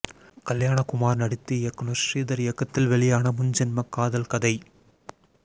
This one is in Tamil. கல்யாணகுமார் நடித்து இயக்குனர் ஸ்ரீதர் இயக்கத்தில் வெளியான முன் ஜென்ம காதல் கதை